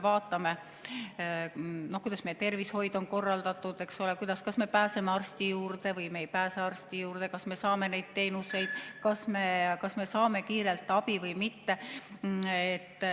Vaatame, kuidas meie tervishoid on korraldatud, eks ole: kas me pääseme arsti juurde või me ei pääse arsti juurde, kas me saame neid teenuseid, kas me saame kiirelt abi või mitte.